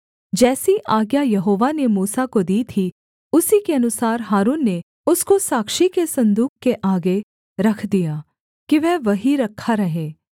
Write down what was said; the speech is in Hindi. जैसी आज्ञा यहोवा ने मूसा को दी थी उसी के अनुसार हारून ने उसको साक्षी के सन्दूक के आगे रख दिया कि वह वहीं रखा रहे